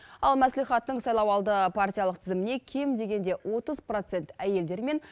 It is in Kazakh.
ал мәслихаттың сайлауалды партиялық тізіміне кем дегенде отыз процент әйелдер мен